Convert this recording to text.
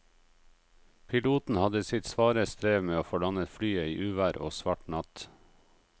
Piloten hadde sitt svare strev med å få landet flyet i uvær og svart natt.